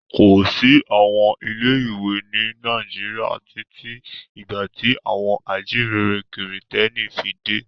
Kò sí àwọn ilé-ìwé ní Naijiria títí di ìgbà tí àwọn ajíǹrere Kìrìtẹ́ẹ́nì fi dé.